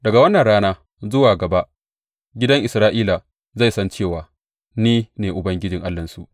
Daga wannan rana zuwa gaba gidan Isra’ila zai san cewa ni ne Ubangiji Allahnsu.